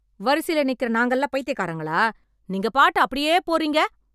வரிசைல நிக்கிற நாங்கெல்லாம் பைத்தியக்காரங்களா? நீங்க பாட்டு அப்படியே போறீங்க?